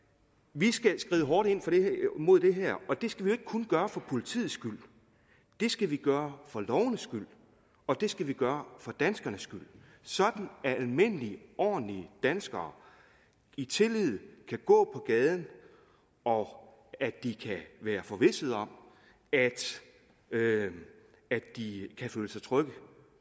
vi skal skride hårdt ind mod det her og det skal vi jo ikke kun gøre for politiets skyld det skal vi gøre for lovenes skyld og det skal vi gøre for danskernes skyld sådan at almindelige ordentlige danskere i tillid kan gå på gaden og at de kan være forvisset om at de kan føle sig trygge